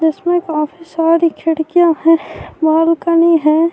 اسمے کافی سرے کھڑکیاں ہیں، بلکنے ہے-